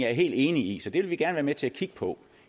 jeg helt enig i så det vil vi gerne til at kigge på